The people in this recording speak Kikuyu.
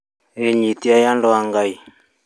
Wĩnyitiei andũ a Ngai